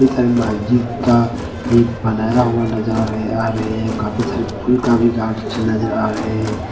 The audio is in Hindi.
ये सारे महजिद का ये बनाया हुआ नजर आ रहे आ रहे है काफी सारे फूल का भी नजर आ रहे हैं।